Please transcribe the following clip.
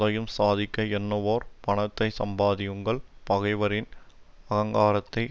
எதையும் சாதிக்க எண்ணுவோர் பணத்தைச் சம்பாதியுங்கள் பகைவரின் அகங்காரத்தை